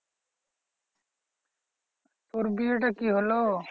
তোর বিয়েটা কি হলো?